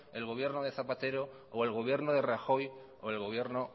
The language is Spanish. el gobierno de zapatero o el gobierno de rajoy o el gobierno